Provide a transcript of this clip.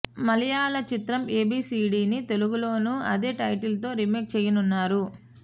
మలయాళ చిత్రం ఏబీసీడీ ని తెలుగులోనూ అదే టైటిల్ తో రిమేక్ చేయనున్నారు